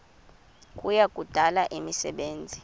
kuya kudala imisebenzi